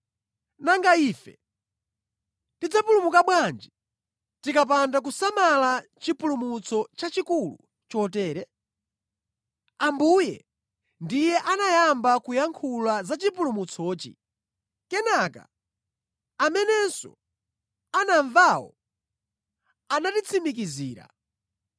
Nanga ife tidzapulumuka bwanji tikapanda kusamala chipulumutso chachikulu chotere? Ambuye ndiye anayamba kuyankhula za chipulumutsochi, kenaka amenenso anamvawo anatitsimikizira.